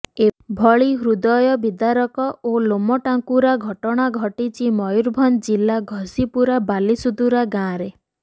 ଏଭଳି ହୃଦୟ ବିଦାରକ ଓ ଲୋମ ଟାଙ୍କୁରା ଘଟଣା ଘଟିଛି ମୟରୁଭଞ୍ଜ ଜିଲ୍ଲା ଘଶିପୁରା ବାଲିସୁଦୁରା ଗାଁରେ